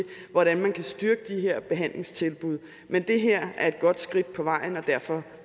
hvordan man kan styrke de her behandlingstilbud men det her er et godt skridt på vejen og derfor